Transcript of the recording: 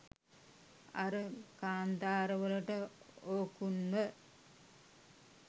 අර කාන්තාර වලට ඕකුන්ව